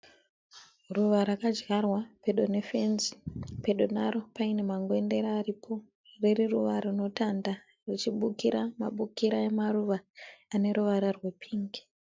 Ruva rakadyarwa pedo nefenzi. Pedo naro pane mangwendere aripo ririruva rinotanda richibukira mabukira emaruva ane ruvara rwepingi.